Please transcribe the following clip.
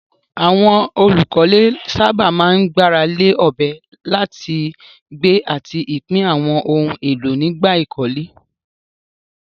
Àwọn olùkọ́lé sábà máa ń gbára lé ọ̀bẹ láti gbé àti pín àwọn ohun èlò nígbà ìkọ́lé.